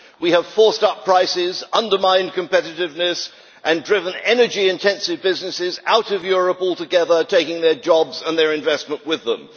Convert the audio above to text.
We have forced up prices, undermined competitiveness and driven energy-intensive businesses out of Europe altogether, taking their jobs and their investment with them.